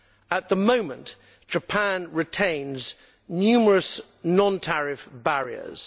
At the moment Japan retains numerous non tariff barriers.